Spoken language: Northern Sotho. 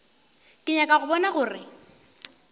ke nyaka go bona gore